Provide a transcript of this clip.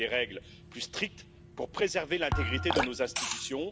Il faut des règles plus strictes pour préserver l'intégrité de nos institutions.